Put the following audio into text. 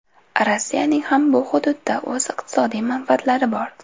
Rossiyaning ham bu hududda o‘z iqtisodiy manfaatlari bor.